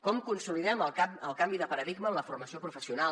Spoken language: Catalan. com consolidem el canvi de paradigma en la formació professional